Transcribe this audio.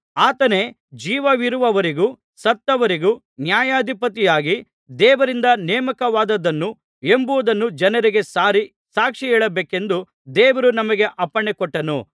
ಆತನೇ ಜೀವವಿರುವವರಿಗೂ ಸತ್ತವರಿಗೂ ನ್ಯಾಯಾಧಿಪತಿಯಾಗಿ ದೇವರಿಂದ ನೇಮಕವಾದವನು ಎಂಬುದನ್ನು ಜನರಿಗೆ ಸಾರಿ ಸಾಕ್ಷಿ ಹೇಳಬೇಕೆಂದು ದೇವರು ನಮಗೆ ಅಪ್ಪಣೆಕೊಟ್ಟನು